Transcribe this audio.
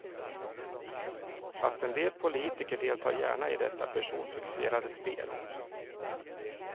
Fast en del politiker deltar gärna i detta personfixerade spel.